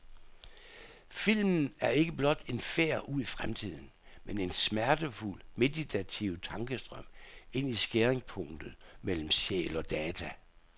Filmen er ikke blot en færd ud i fremtiden, men en smertefuld, meditativ tankestrøm ind i skæringspunktet mellem sjæl og data.